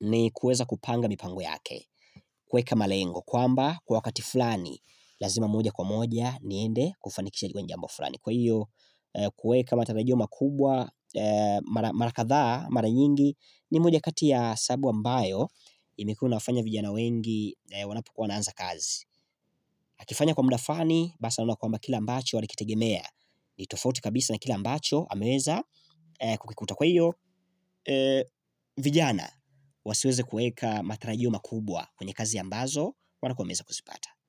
ni kuweza kupanga mipango yake. Kuweka malengo kwamba kwa wakati fulani, lazima moja kwa moja niende kufanikisha jambo fulani. Kwa hiyo, kuweka matarajio makubwa mara kadhaa, mara nyingi ni moja kati ya sababu ambayo imekuwa inawafanya vijana wengi wanapokuwa wanaanza kazi. Akifanya kwa muda fulani, basi anaona kwamba kile ambacho alikitegemea. Ni tofauti kabisa na kile ambacho ameweza kukikuta. Kwa hiyo vijana wasiweze kuweka matarajio makubwa kwenye kazi ambazo wanakuwa wameweza kuzipata.